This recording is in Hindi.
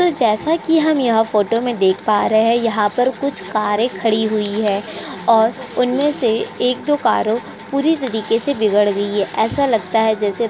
तो जैसा कि हम यहाँ फोटो में देख पा रहे है यहाँ पर कुछ कारे खड़ी हुई है और उनमे से एक दो कारो पूरी तरीके से बिगड गई है ऐसा लगता है जैसे --